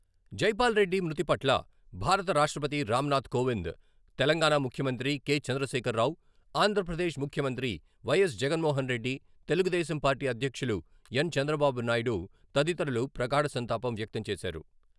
జైపాల్ రెడ్డి మృతిపట్ల భారత రాష్ట్రపతి రామ్నాధ్ కోవింద్, తెలంగాణా ముఖ్యమంత్రి కె. చంద్రశేఖరరావు, ఆంధ్రప్రదేశ్ ముఖ్యమంత్రి వై.ఎస్ జగన్మోహన్రెడ్డి, తెలుగుదేశంపార్టీ అధ్యక్షులు ఎన్. చంద్రబాబునాయుడు తదితరులు ప్రగాఢ సంతాపం వ్యక్తం చేశారు.